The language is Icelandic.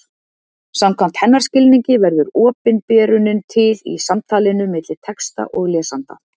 Samkvæmt hennar skilningi verður opinberunin til í samtalinu milli texta og lesanda.